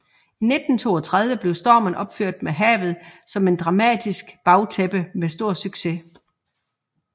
I 1932 blev Stormen opført med havet som et dramatisk bagtæppe med stor succes